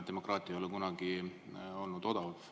Demokraatia ei ole kunagi olnud odav.